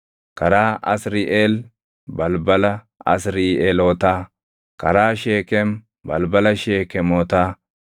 karaa Asriʼeel, balbala Asriiʼeelotaa, karaa Sheekem, balbala Sheekemotaa;